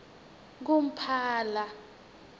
kumphala